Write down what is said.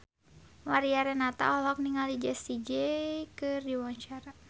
Mariana Renata olohok ningali Jessie J keur diwawancara